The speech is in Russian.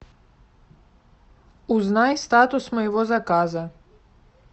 узнай статус моего заказа